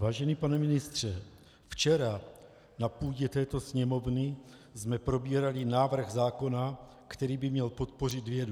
Vážený pane ministře, včera na půdě této Sněmovny jsme probírali návrh zákona, který by měl podpořit vědu.